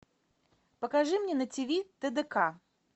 покажи мне на ти ви тдк